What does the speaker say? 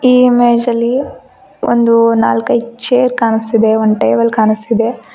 ಈ ಇಮೇಜ್ ಅಲ್ಲಿ ಒಂದು ನಾಲ್ಕೈದ್ ಚೇರ್ ಕಾಣುಸ್ತಿದೆ ಒಂದ್ ಟೇಬಲ್ ಕಾಣುಸ್ತಿದೆ.